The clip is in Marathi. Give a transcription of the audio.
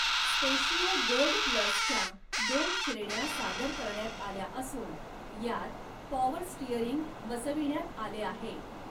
स्पेशियो गोल्ड प्लसच्या दोन श्रेण्या सादर करण्यात आल्या असून, यात पॉवर स्टिअरिंग बसविण्यात आले आहे.